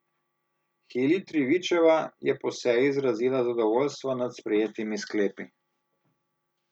Hilij Trivičeva je po seji izrazila zadovoljstvo nad sprejetimi sklepi.